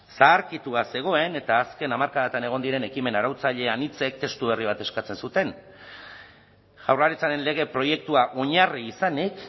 zaharkitua zegoen eta azken hamarkadatan egon diren ekimen arautzaile anitzek testu berri bat eskatzen zuten jaurlaritzaren lege proiektua oinarri izanik